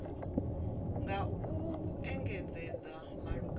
nga u ṅea ngeletshedzo malugana